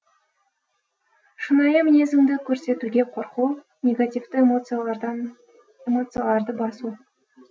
шынайы мінезіңді көрсетуге қорқу негативті эмоцияларды басу